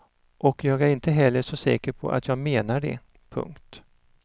Och jag är inte heller så säker på att jag menar det. punkt